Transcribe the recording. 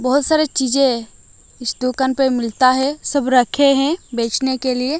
बहुत सारे चीजें इस दुकान पे मिलता है सब रखे हैं बेचने के लिए।